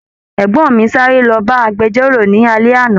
Ẹgbọn mí sáré l'ọba agbẹ̀jọ́ro ni alẹ́ àná.